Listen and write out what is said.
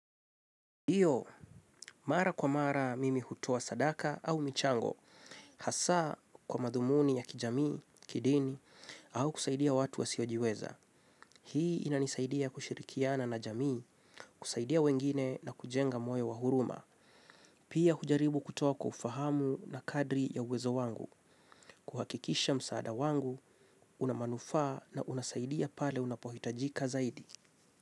Ndiyo, mara kwa mara mimi hutoa sadaka au michango, hasa kwa madhumuni ya kijamii, kidini, au kusaidia watu wasiojiweza. Hii inanisaidia kushirikiana na jamii, kusaidia wengine na kujenga moyo wa huruma. Pia hujaribu kutoa kwa ufahamu na kadri ya uwezo wangu, kuhakikisha msaada wangu, una manufaa na unasaidia pale unapohitajika zaidi.